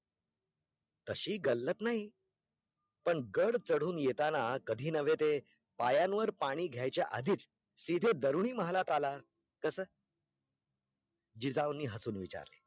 तशी गल्लत नाही पण गढ चढून येताना कधी नव्हे ते पायावर पाणी घायच्या आधीच सीधे तरुणी महालात आला तसं जिजाऊंनी हसून विचारले